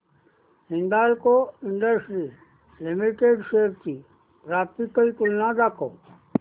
Hindalco industries limited shares ची graphical तुलना दाखव